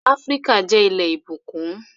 Áfríkà jẹ́ ilẹ̀ ìbùkún